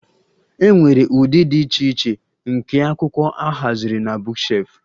E nwere ụdị dị iche iche nke akwụkwọ a haziri na bookshelf